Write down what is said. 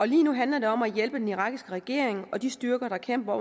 lige nu handler det om at hjælpe den irakiske regering og de styrker der kæmper